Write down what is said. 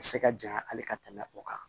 A bɛ se ka janya hali ka tɛmɛ o kan